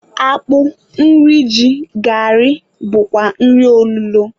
Akpụ, nri ji, gari wdg bụkwa nri olulo